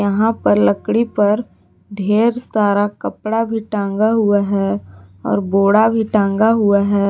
यहाँ पर लकड़ी पर ढेर सारा कपड़ा भी टांगा हुआ है और घोड़ा भी टांगा हुआ है।